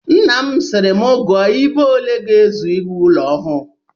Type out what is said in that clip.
Nna m sịrị m gụọ ibo ole ga-ezu iwu ụlọ ọhụụ